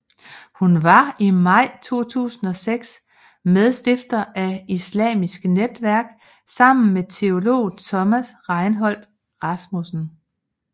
Hun var i maj 2006 medstifter af Islamkritisk Netværk sammen med teolog Thomas Reinholdt Rasmussen